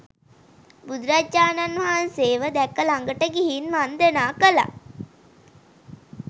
බුදුරජාණන් වහන්සේව දැක ළඟට ගිහින් වන්දනා කළා.